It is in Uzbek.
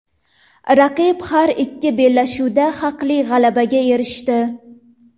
Raqib har ikki bellashuvda haqli g‘alabaga erishdi.